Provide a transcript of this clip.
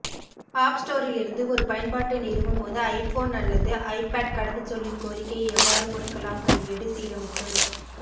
app ஸ்டோரிலிருந்து ஒரு பயன்பாட்டை நிறுவும் போது ஐபோன் அல்லது ஐபாட் கடவுச்சொல்லின் கோரிக்கையை எவ்வாறு முடக்கலாம் கையேடு சீரமைப்பு